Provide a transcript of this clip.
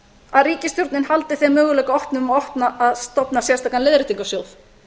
að ríkisstjórnin haldi þeim möguleika opnum að stofna sérstakan leiðréttingarsjóð